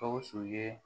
Gawusu ye